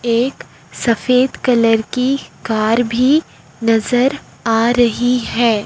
एक सफेद कलर की कार भी नजर आ रही है।